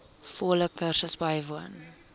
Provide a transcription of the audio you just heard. volle kursus bywoon